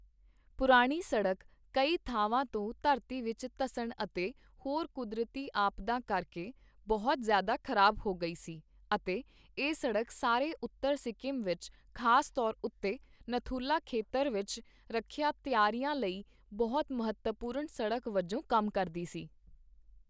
ਪੁਰਾਣੀ ਸੜਕ ਕਈ ਥਾਵਾਂ ਤੋਂ ਧਰਤੀ ਵਿੱਚ ਧੱਸਣ ਅਤੇ ਹੋਰ ਕੁਦਰਤੀ ਆਪਦਾਂ ਕਰਕੇ ਬਹੁਤ ਜਿ਼ਆਦਾ ਖ਼ਰਾਬ ਹੋ ਗਈ ਸੀ ਅਤੇ ਇਹ ਸੜਕ ਸਾਰੇ ਉੱਤਰ ਸਿੱਕਮ ਵਿੱਚ ਖ਼ਾਸ ਤੌਰ ਉੱਤੇ ਨਥੁਲਾ ਖੇਤਰ ਵਿੱਚ ਰੱਖਿਆ ਤਿਆਰੀਆਂ ਲਈ ਬਹੁਤ ਮਹੱਤਵਪੂਰਨ ਸੜਕ ਵਜੋਂ ਕੰਮ ਕਰਦੀ ਸੀ।